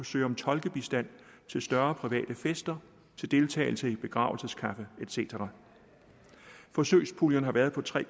søge om tolkebistand til større private fester til deltagelse i begravelseskaffe et cetera forsøgspuljen har været på tre